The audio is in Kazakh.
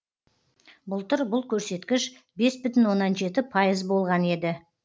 былтыр бұл көрсеткіш бес бүтін оннан жеті пайыз болған еді